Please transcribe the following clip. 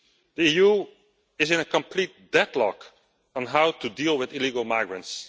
The EU is in a complete deadlock on how to deal with illegal migrants.